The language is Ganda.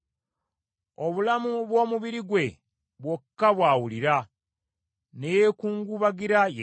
Obulamu bw’omubiri gwe bwokka bw’awulira ne yeekungubagira yekka.”